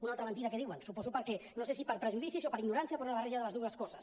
una altra mentida que diuen no sé si prejudicis o per ignorància o per una barreja de les dues coses